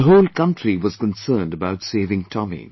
The whole country was concerned about saving Tomy